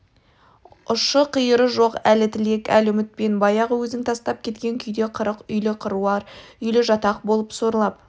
ұшы-қиыры жоқ әлі тілек әлі үмітпен баяғы өзің тастап кеткен күйде қырық үйлі қыруар үйлі жатақ болып сорлап